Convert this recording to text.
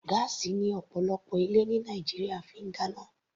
Gáásì ni ọ̀pọ̀lọpọ̀ ilé ní Nàìjíríà fi ń dáná.